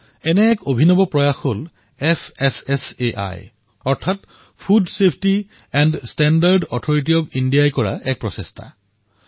এনেকুৱা এক প্ৰয়াস fssaই অৰ্থাৎ food safety and standard authority of India ৰ দ্বাৰা হৈছে